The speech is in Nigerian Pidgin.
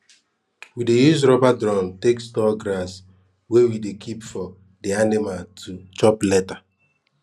we dey use rubber drum take store grass wey we dey keep for di anima to chop lata